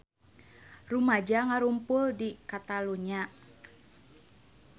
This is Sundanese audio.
Rumaja ngarumpul di Catalunya